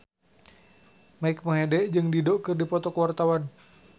Mike Mohede jeung Dido keur dipoto ku wartawan